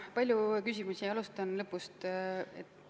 Palju küsimusi, alustan lõpust.